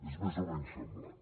és més o menys semblant